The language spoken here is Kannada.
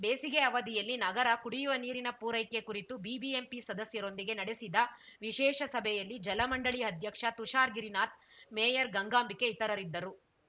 ಬೇಸಿಗೆ ಅವಧಿಯಲ್ಲಿ ನಗರ ಕುಡಿಯುವ ನೀರಿನ ಪೂರೈಕೆ ಕುರಿತು ಬಿಬಿಎಂಪಿ ಸದಸ್ಯರೊಂದಿಗೆ ನಡೆಸಿದ ವಿಶೇಷ ಸಭೆಯಲ್ಲಿ ಜಲ ಮಂಡಳಿ ಅಧ್ಯಕ್ಷ ತುಷಾರ ಗಿರಿನಾಥ್‌ ಮೇಯರ್‌ ಗಂಗಾಂಬಿಕೆ ಇತರರಿದ್ದರು